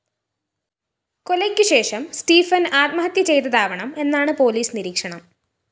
കൊലയ്ക്കുശേഷം Stephen‍ ആത്മഹത്യ ചെയ്തതാവണം എന്നാണ് പോലീസ് നിരീക്ഷണം